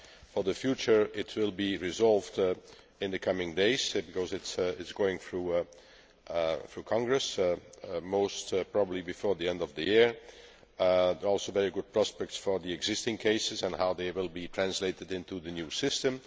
For the future, it will be resolved in the coming days because it is going through Congress, most probably before the end of the year. There are also very good prospects for the existing cases and how they will be translated into the new system.